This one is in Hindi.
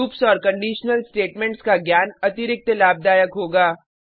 लूप्स और कंडिशनल स्टेटमेंट्स का ज्ञान अतिरिक्त लाभदायक होगा